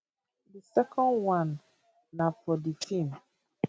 di second one na for di feem